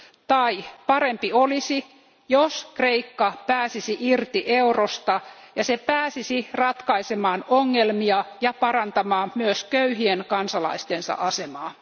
Tai parempi olisi, jos Kreikka pääsisi irti eurosta ja se pääsisi ratkaisemaan ongelmia ja parantamaan myös köyhien kansalaistensa asemaa.